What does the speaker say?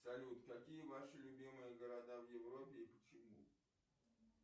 салют какие ваши любимые города в европе и почему